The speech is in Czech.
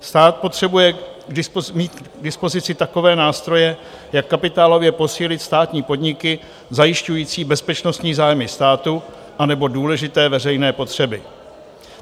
Stát potřebuje mít k dispozici takové nástroje, jak kapitálově posílit státní podniky zajišťující bezpečnostní zájmy státu anebo důležité veřejné potřeby.